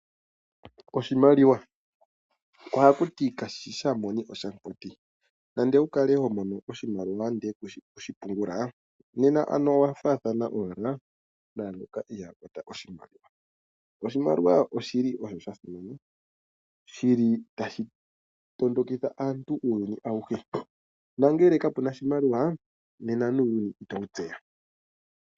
Oshimaliwa, oha kuti kashishi shamumoni oshamukwati nande owukalae homono oshimaliwa ndele kushi okushi pungula nena ano owafaathana naangoka ihaa kwata oshimaliwa. Oshimaliwa oshili osho shasimana, shili tashi tondokitha aantu uuyuni awuhe, nangele ka puna oshimaliwa nena nuuyuni iyowutseya.